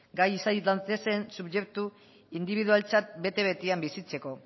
gai izan daitezen subjektu indibidualtzat bete betean bizitzeko